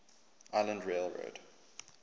island rail road